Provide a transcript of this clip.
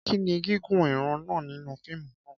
Kí ni gígùn ìran náà nínú fíìmù náà?